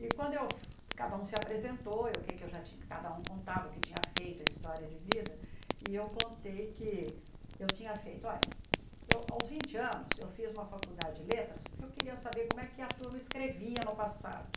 E quando eu cada um se apresentou, o que é que eu cada um contava o que tinha feito, a história de vida, e eu contei que eu tinha feito, olha, aos vinte anos eu fiz uma faculdade de letras porque eu queria saber como é que a turma escrevia no passado.